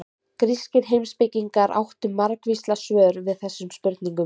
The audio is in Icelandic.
Grískir heimspekingar áttu margvísleg svör við þessum spurningum.